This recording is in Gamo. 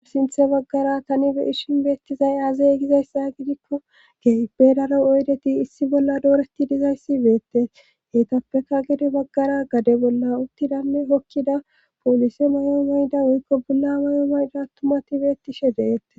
Sinthe baggara tani be ishin beettizay azey gizayssa gidikko geybedaro oydeti issi bolla dooreti dizayssi beette heetappeka gade baggara gade bolla uttidanne hokkida poolisi mayo mayda woykko bulla mayo mayda attumati beettishe deetees